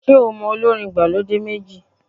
Ṣé o mọ olórin ìgbàlódé méjì?